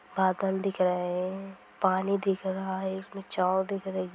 बादल दिख रहे हैं पानी दिख रहा है| इसमें छांव दिख रही--